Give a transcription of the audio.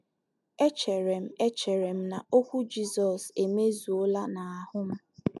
Echere m Echere m na okwu Jizọs emezuola n’ahụ́ m.